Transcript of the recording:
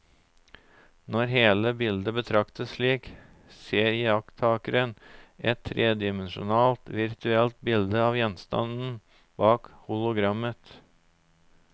Når hele bildet betraktes slik, ser iakttakeren et tredimensjonalt virtuelt bilde av gjenstanden bak hologrammet.